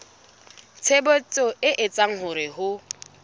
tshebetso e etsang hore ho